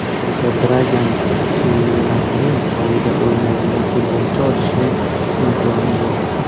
Hozirda Dragan Cheranning joyida o‘ynaydigan futbolchi olishning imkoni yo‘q.